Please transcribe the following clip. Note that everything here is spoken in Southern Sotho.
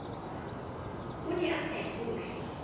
ne o sa e tshohle